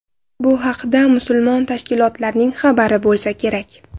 Bu haqda mas’ul tashkilotlarning xabari bo‘lsa kerak.